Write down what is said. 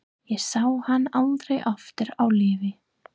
Ég sá hann aldrei aftur á lífi.